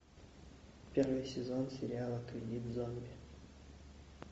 первый сезон сериала кредит зомби